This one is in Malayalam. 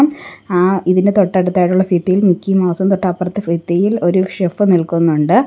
ആ ഇതിൻ്റെ തൊട്ടടുത്തായിട്ടുള്ള ഭിത്തിയിൽ മിക്കി മൗസും തൊട്ടപ്പുറത്തെ ഭിത്തിയിൽ ഒര് ഷെഫ് നിൽക്കുന്നുണ്ട്.